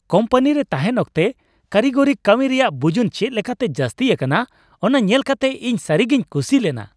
ᱠᱳᱢᱯᱟᱱᱤᱨᱮ ᱛᱟᱦᱮᱱ ᱚᱠᱛᱮ ᱠᱟᱨᱤᱜᱚᱨᱤ ᱠᱟᱹᱢᱤ ᱨᱮᱭᱟᱜ ᱵᱩᱡᱩᱱ ᱪᱮᱫ ᱞᱮᱠᱟᱛᱮ ᱡᱟᱹᱥᱛᱤ ᱟᱠᱟᱱᱟ ᱚᱱᱟ ᱧᱮᱞᱠᱟᱛᱮ ᱤᱧ ᱥᱟᱹᱨᱤᱜᱮᱧ ᱠᱩᱥᱤ ᱞᱮᱱᱟ ᱾